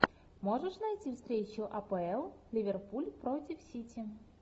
можешь найти встречу апл ливерпуль против сити